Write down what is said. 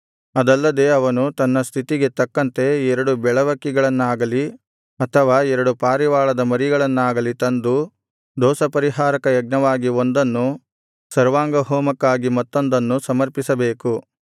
ಅದಲ್ಲದೆ ಅವನು ತನ್ನ ಸ್ಥಿತಿಗೆ ತಕ್ಕಂತೆ ಎರಡು ಬೆಳವಕ್ಕಿಗಳನ್ನಾಗಲಿ ಅಥವಾ ಎರಡು ಪಾರಿವಾಳದ ಮರಿಗಳನ್ನಾಗಲಿ ತಂದು ದೋಷಪರಿಹಾರಕ ಯಜ್ಞವಾಗಿ ಒಂದನ್ನು ಸರ್ವಾಂಗಹೋಮಕ್ಕಾಗಿ ಮತ್ತೊಂದನ್ನು ಸಮರ್ಪಿಸಬೇಕು